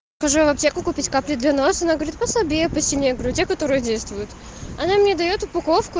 хожу я в аптеку купить капли для носа она говорит послабее посильнее я говорю те которые действуют она мне даёт упаковку